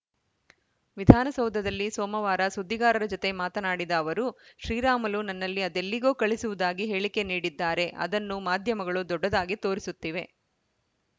ವಿಧಾನಸೌಧದಲ್ಲಿ ಸೋಮವಾರ ಸುದ್ದಿಗಾರರ ಜತೆ ಮಾತನಾಡಿದ ಅವರು ಶ್ರೀರಾಮುಲು ನನ್ನಲ್ಲಿ ಅದೆಲ್ಲಿಗೋ ಕಳುಹಿಸುವುದಾಗಿ ಹೇಳಿಕೆ ನೀಡಿದ್ದಾರೆ ಅದನ್ನು ಮಾಧ್ಯಮಗಳು ದೊಡ್ಡದಾಗಿ ತೋರಿಸುತ್ತಿವೆ